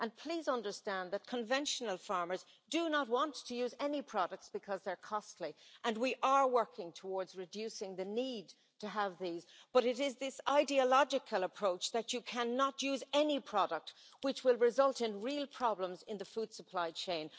And please understand that conventional farmers do not want to use just any products, because they are costly, and we are working towards reducing the need to have these, but it is this ideological approach that you cannot use any product which will result in real problems in the food supply chain.